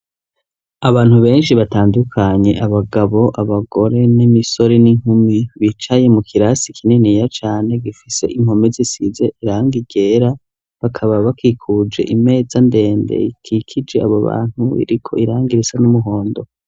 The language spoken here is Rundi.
Abantu benshi batandukanye, abagabo abagore n'imisore n'inkumi bicaye mu kirasi kininiya cane, gifise impume zisize irangi ryera bakaba bakikuje imeza ndende ikikije abo bantu, iriko irangi risa n'umuhondo.